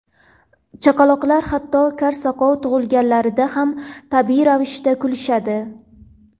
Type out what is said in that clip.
Chaqaloqlar hatto kar-soqov tug‘ilganlarida ham tabiiy ravishda kulishadi.